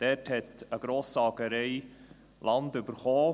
Dort hat eine Grosssägerei mit Hilfe des Kantons Land erhalten.